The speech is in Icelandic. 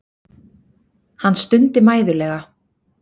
Hann stundi mæðulega.